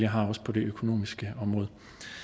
har også på det økonomiske område